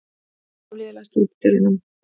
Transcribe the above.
Hafliði, læstu útidyrunum.